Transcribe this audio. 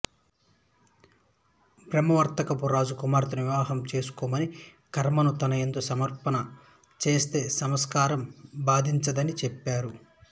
బ్రహ్మావర్తపు రాజు కుమార్తెను వివాహం చేసుకొమ్మని కర్మను తనయందు సమర్పణ చేస్తే సంసారం బాధించదని చెప్పారు